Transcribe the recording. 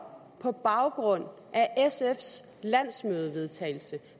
på baggrund af sfs landsmødevedtagelse